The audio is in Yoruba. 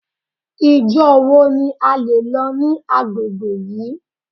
Ìjọ wo ni a lè lọ ní agbègbè yìí.